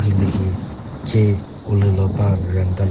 hilühi ce ulülo ba varanda lü--